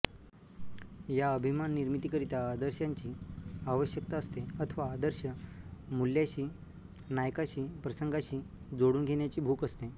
या अभिमान निर्मितीकरिता आदर्शांची आवश्यकता असते अथवा आदर्श मूल्याशीनायकाशीप्रसंगाशी जोडून घेण्याची भूक असते